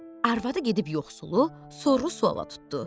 Arvadı gedib yoxsulu soru-suala tutdu.